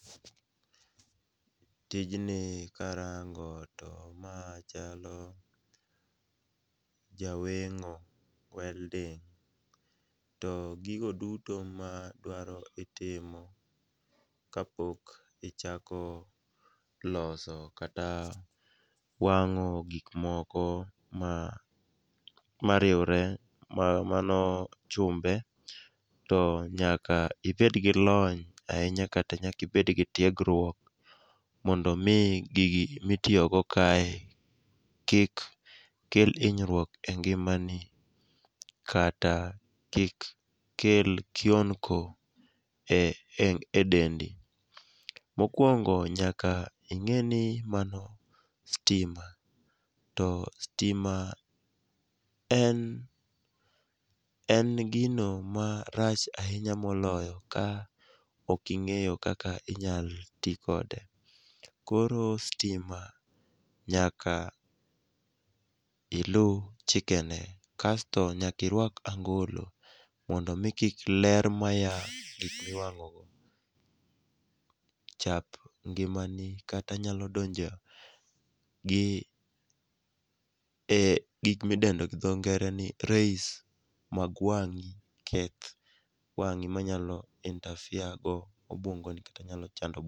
Tijni karango to ma chalo jaweng'o, welding to gigo duto madwaro itimo kapok ichako loso kata wang'o gikmoko ma riwre mano chumbe, to nyaka ibedgi lony ahinya kata nyaka ibedgi tiegruok, mondo oi gigi mitiyogo kae, kik kel hinyruok e ngimani kata kik kel kionko e dendi. Mokwongo nyaka ing'eni mano stima, to stima en gino ma rach ahinya moloyo ka ok ing'eyo kaka inyalo ti kode. Koro stima nyaka iluw chikene kasto nyaka irwak angolo mondo omi ler maya e gik miwang'ogi chap ngimani kata nyalo donjo gi gik midendo gi dhongere ni rays mag wang'i keth wang'i manyalo interfere gobwongoni kata nyalo chando obwongoni.